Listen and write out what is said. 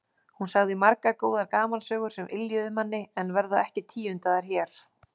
Hún sagði margar góðar gamansögur sem yljuðu manni en verða ekki tíundaðar hér.